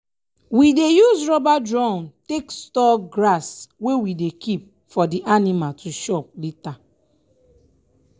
we dey use rubber drum take store grass wey we dey keep for di anima to chop lata.